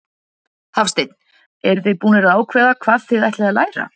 Hafsteinn: Eruð þið búnar að ákveða hvað þið ætlið að læra?